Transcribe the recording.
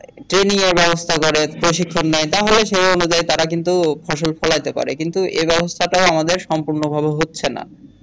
কি নিয়ে ব্যবস্থা করে প্রশিক্ষন নেয় তাহলে সে অনুযায়ী তারা কিন্তু ফসল ফলাতে পারে কিন্তু ব্যবস্থাটা আমাদের সম্পুর্ণ ভাবে হচ্ছে না।